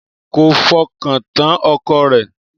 Kò fọkàntán ọkọ rẹ̀